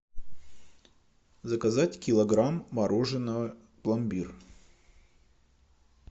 заказать килограмм мороженого пломбир